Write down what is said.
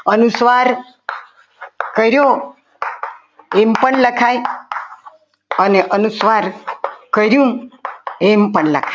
અનુસ્વાર કર્યો એમ પણ લખાય અને અનુસ્વાર કર્યું એમ પણ લખાય.